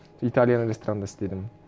италияның ресторанында істедім